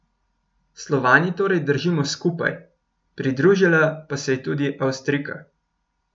Slovani torej držimo skupaj, pridružila pa se je tudi Avstrijka.